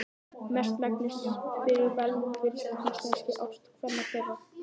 Mestmegnis fyrir velvild íslenskra ástkvenna þeirra.